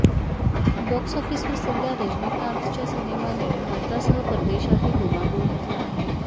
box ऑफिसवर सध्या रजनीकांतच्या सिनेमाने भारतासह परदेशातही धुमाकूळ घातला आहे